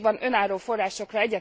Szükség van önálló forrásokra.